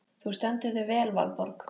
Þú stendur þig vel, Valborg!